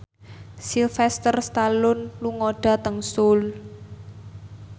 Sylvester Stallone lunga dhateng Seoul